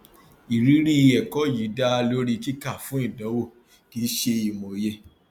ìrírí ẹkọ yìí dá lórí kíkà fún ìdánwò kì í ṣe ìmòye